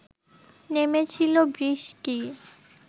নেমেছিল বৃষ্টি